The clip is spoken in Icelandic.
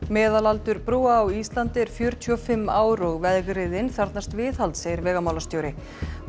meðalaldur brúa á Íslandi er fjörutíu og fimm ár og vegriðin þarfnast viðhalds segir vegamálastjóri